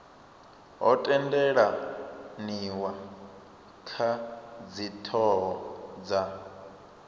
ho tendelaniwa kha dzithoho dza